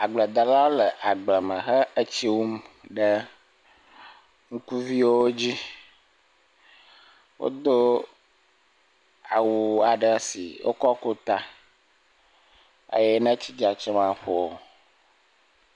Agbledela le agbleme tsi wum ɖe ŋukuviwo dzi edo awu aɖe si wokɔ ku ta eye ne etsi dzam tsi maƒowo o